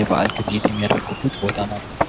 የበአል ግብይት የሚያደርጉበት ቦታ ማለት ነው።